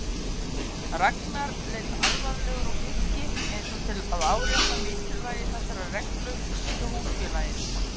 Ragnar leit alvarlegur á Birki eins og til að árétta mikilvægi þessarar reglu hjá húsfélaginu.